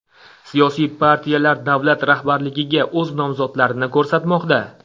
Siyosiy partiyalar davlat rahbarligiga o‘z nomzodlarini ko‘rsatmoqda.